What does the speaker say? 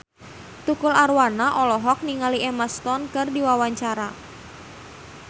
Tukul Arwana olohok ningali Emma Stone keur diwawancara